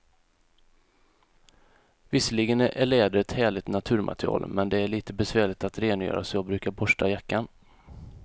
Visserligen är läder ett härligt naturmaterial, men det är lite besvärligt att rengöra, så jag brukar borsta jackan.